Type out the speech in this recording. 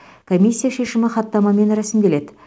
комиссия шешімі хаттамамен рәсімделеді